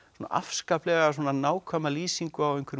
afskaplega nákvæma lýsingu á